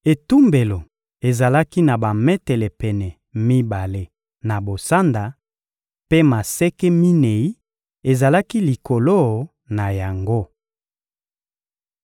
Etumbelo ezalaki na bametele pene mibale na bosanda, mpe maseke minei ezalaki likolo na yango.